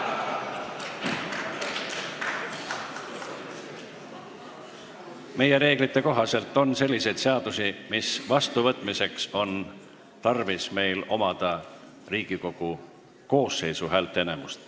Meie reeglite kohaselt on selliseid seadusi, mille vastuvõtmiseks on tarvis Riigikogu koosseisu häälteenamust.